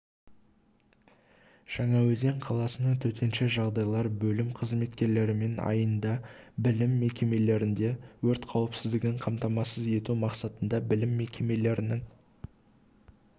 жаңаөзен қаласының төтенше жағдайлар бөлім қызметкерлерімен айында білім мекемелерінде өрт қауіпсіздігін қамтамасыз ету мақсатында білім мекемелерінің